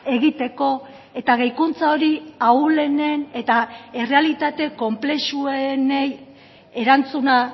egiteko eta gehikuntza hori ahulenen eta errealitate konplexuenei erantzuna